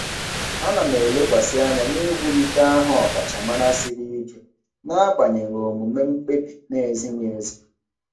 Ana m elekwasị anya n'iwulite aha ọkachamara siri ike n'agbanyeghị omume mkpebi na-ezighị ezi.